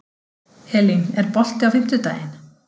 Elín, er bolti á fimmtudaginn?